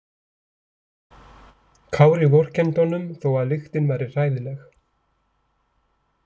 Kári vorkenndi honum þó að lyktin væri hræðileg.